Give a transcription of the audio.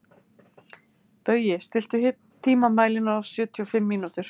Baui, stilltu tímamælinn á sjötíu og fimm mínútur.